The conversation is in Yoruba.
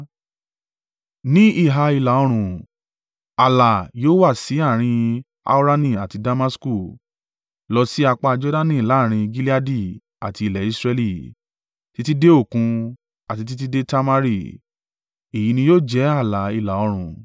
Ní ìhà ìlà-oòrùn ààlà yóò wá sí àárín Haurani àti Damasku, lọ sí apá Jordani láàrín Gileadi àti ilẹ̀ Israẹli, títí dé Òkun, àti títí dé Tamari. Èyí ní yóò jẹ́ ààlà ìlà-oòrùn.